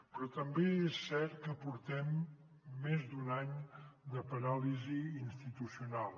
però també és cert que portem més d’un any de paràlisi institucional